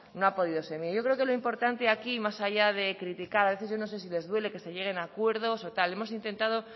no ha podido yo creo que lo importante aquí y más allá de criticar a veces yo no sé si les duele que se lleguen a acuerdos o tal hemos intentado